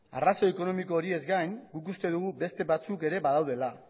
arrazoi ekonomikoez gain guk uste dugu beste batzuk ere badaudela